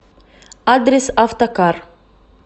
адрес автокар